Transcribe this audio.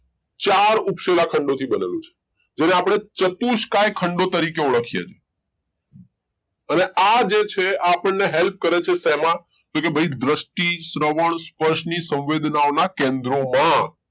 ચાર ઉપસેલા ખંડો બનેલો છે જેને આપણે ચતુષકાય ખંડો તરીકે ઓળખીએ છીએ અને આ જે છે આપણે help કરે છે તો કે ભાઈ શેમાં દ્રષ્ટિ શ્રવણ સ્પષ્ટ ની સંવેદના ઓ ના ખેંદ્રો